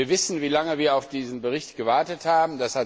Wir wissen, wie lange wir auf diesen Bericht gewartet haben.